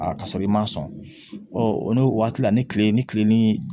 Aa ka sɔrɔ i ma sɔn o n'o waati la ni kile ni kile ni